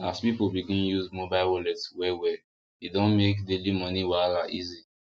as people begin use mobile wallet wellwell e don make daily money wahala easy